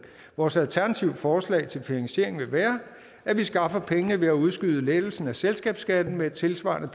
vores alternative forslag til finansiering vil være at vi skaffer pengene ved at udskyde lettelsen af selskabsskatten med et tilsvarende